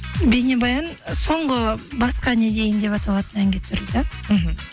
бейнебаян соңғы басқа не дейін деп аталатын әнге түсірілді мхм